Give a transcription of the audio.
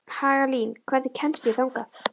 Hagalín, hvernig kemst ég þangað?